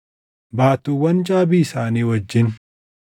baattuuwwan caabii isaanii wajjin;